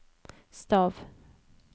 stav